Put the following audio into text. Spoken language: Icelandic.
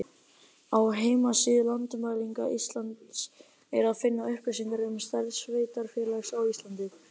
Á heimasíðu Landmælinga Íslands er að finna upplýsingar um stærð sveitarfélaga á Íslandi.